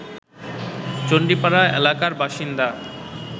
চণ্ডীপাড়া এলাকার বাসিন্দা